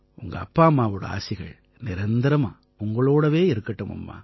உங்க அப்பா அம்மாவோட ஆசிகள் நிரந்தரமா உங்களோட இருக்கட்டும்மா